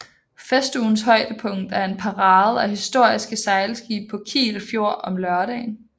Festugens højdepunkt er en parade af historiske sejlskibe på Kiel Fjord om lørdagen